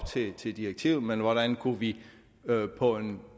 til direktivet men hvordan vi på en